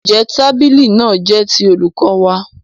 Ǹjẹ́ tábìlì náà jẹ́ ti olùkọ́ wa?